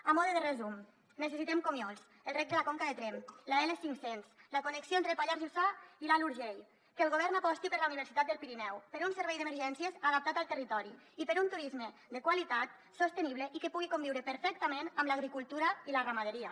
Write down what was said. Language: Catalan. a mode de resum necessitem comiols el reg de la conca de tremp l’l cinc cents la connexió entre el pallars jussà i l’alt urgell que el govern aposti per la universitat del pirineu per un servei d’emergències adaptat al territori i per un turisme de qualitat sostenible i que pugui conviure perfectament amb l’agricultura i la ramaderia